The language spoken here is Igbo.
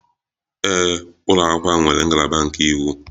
Ee, ụlọ akwụkwọ ahụ nwere ngalaba nke iwu.